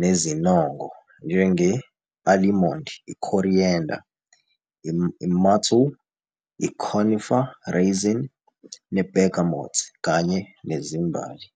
nezinongo, njenge-alimondi, i-coriander, i-myrtle, i-conifer resin ne-bergamot, kanye nezimbali.